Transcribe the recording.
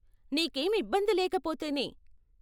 నీకేం ఇబ్బంది లేకపోతేనే.